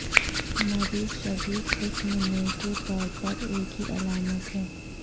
مریض شدید قسم میں کے طور پر ایک ہی علامات ہے